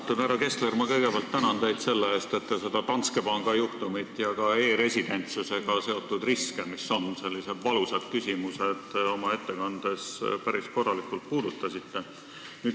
Austatud härra Kessler, ma kõigepealt tänan teid selle eest, et te seda Danske Banki juhtumit ja ka e-residentsusega seotud riske, mis on sellised valusad küsimused, oma ettekandes päris korralikult puudutasite.